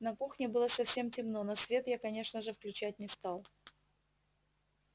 на кухне было совсем темно но свет я конечно же включать не стал